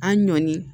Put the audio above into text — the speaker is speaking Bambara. An ɲɔni